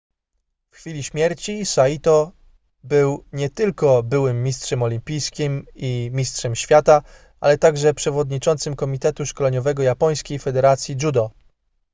w chwili śmierci saito był nie tylko byłym mistrzem olimpijskim i mistrzem świata ale także przewodniczącym komitetu szkoleniowego japońskiej federacji judo